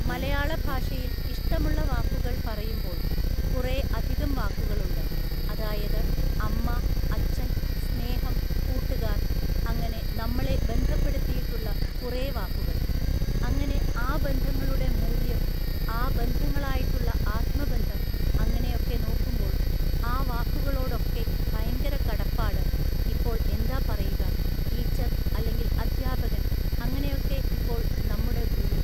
മലയാള ഭാഷഉയിൽ ഇഷ്ടമുള്ള വാക്കുകള്‍ പറയുമ്പോൾ കുറേ അധികം വാക്കുകളുണ്ട്. അതായത് അമ്മ അച്ഛൻ സ്നേഹം കൂട്ടുകാര്‍ അങ്ങനെ നമ്മളെ ബന്ധപ്പെടുത്തിയിട്ടുള്ള കുറേ വാക്കുകൾ. അങ്ങനെ ആ ബന്ധങ്ങളുടെ മൂല്യം ആ ബന്ധങ്ങളായിട്ടുള്ള ആത്മബന്ധം അങ്ങനെയൊക്കെ നോക്കുമ്പോൾ ആ വാക്കുകളോടൊക്കെ ഭയങ്കര കടപ്പാട് ഇപ്പോൾ എന്താ പറയുക ടീച്ചർ അല്ലെങ്കിൽ അദ്ധ്യാപകൻ അങ്ങനെയൊക്കെ ഇപ്പോൾ നമ്മുടെ ഗുരു